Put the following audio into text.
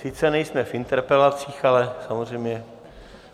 Sice nejsme v interpelacích, ale samozřejmě.